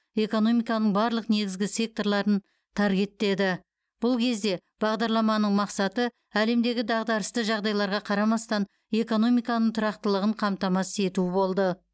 экономиканың барлық негізгі секторларын таргеттеді бұл кезде бағдарламаның мақсаты әлемдегі дағдарысты жағдайларға қарамастан экономиканың тұрақтылығын қамтамасыз ету болды